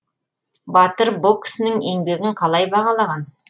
батыр бұл кісінің еңбегін қалай бағалаған